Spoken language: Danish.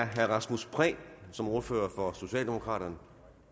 herre rasmus prehn som ordfører for socialdemokraterne